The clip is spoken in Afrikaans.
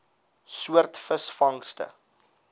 soort visvangste